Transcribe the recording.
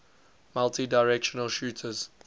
multidirectional shooters